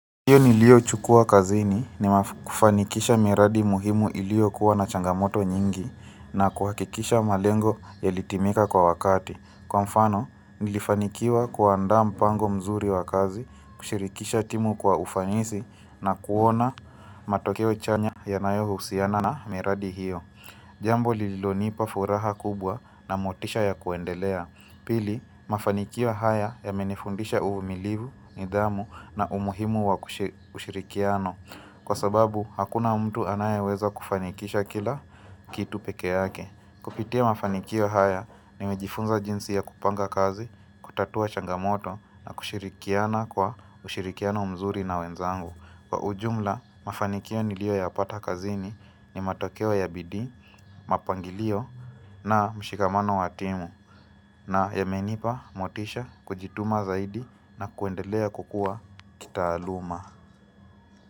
Hiyo niliyochukua kazini ni kufanikisha miradi muhimu iliyo kuwa na changamoto nyingi. Na kuhakikisha malengo yalitimika kwa wakati. Kwa mfano, nilifanikiwa kuandaa mpango mzuri wa kazi, kushirikisha timu kwa ufanisi na kuona matokeo chanya yanayo husiana na miradi hiyo. Jambo lililonipa furaha kubwa na motisha ya kuendelea. Pili, mafanikio haya yamenifundisha uvumilivu, nidhamu na umuhimu wa kushirikiana. Kwa sababu, hakuna mtu anayeweza kufanikisha kila kitu pekee yake. Kupitia mafanikio haya, nimejifunza jinsi ya kupanga kazi, kutatua changamoto na kushirikiana kwa ushirikiano mzuri na wenzangu. Kwa ujumla, mafanikio niliyo yapata kazini ni matokewa ya bidii, mapangilio na mshikamano wa timu. Na yamenipa motisha kujituma zaidi na kuendelea kukua kitahalamu.